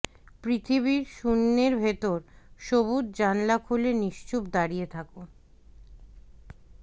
পৃথিবীর শূন্যের ভেতর সবুজ জানালা খুলে নিশ্চুপ দাঁড়িয়ে থাকো